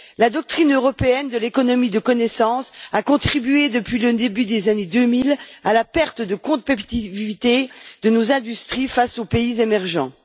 La doctrine européenne de l'économie de la connaissance a contribué depuis le début des années 2000 à la perte de compétitivité de nos industries face aux pays émergents.